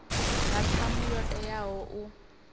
nga ṱhamu yo teaho u